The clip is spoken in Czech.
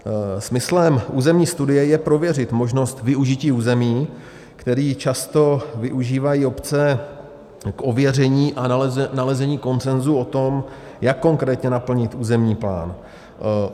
Smyslem územní studie je prověřit možnost využití území, které často využívají obce k ověření a nalezení konsenzu o tom, jak konkrétně naplnit územní plán.